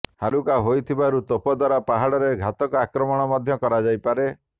ହାଲୁକା ହୋଇଥିବାରୁ ତୋପ ଦ୍ୱାରା ପାହାଡରେ ଘାତକ ଆକ୍ରମଣ ମଧ୍ୟ କରାଯାଇପାରେ